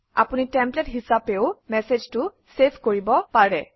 আপুনি টেমপ্লেট হিচাপেও মেচেজটো চেভ কৰিব পাৰে